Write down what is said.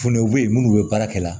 Funteniw bɛ yen minnu bɛ baara kɛ la